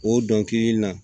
O dɔnkili na